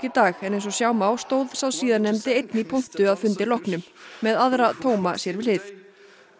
dag en eins og sjá má stóð sá síðarnefndi einn í pontu að fundi loknum með aðra tóma sér við hlið